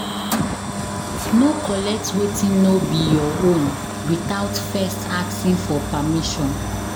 No collect wetin no be your own withot first asking for permission